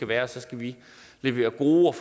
være og så skal vi levere gode